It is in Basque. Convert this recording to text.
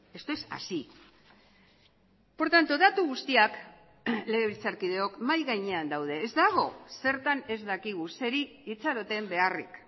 esto es así por tanto datu guztiak legebiltzarkideok mahai gainean daude ez dago zertan ez dakigu zeri itxaroten beharrik